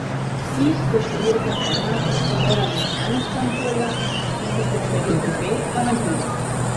Vsi s številko ena smo morali na eno stran polja, tisti s številko dve pa na drugo.